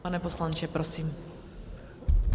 Pane poslanče, prosím.